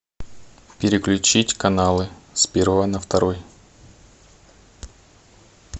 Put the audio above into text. переключить каналы с первого на второй